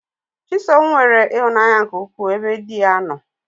Chisom nwere ihụnanya nke ukwu ebe diya nno.